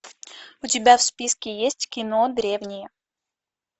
у тебя в списке есть кино древние